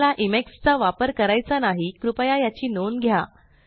तुम्हाला चा इमेक्स वापर करायचा नाही कृपया याची नोंद घ्या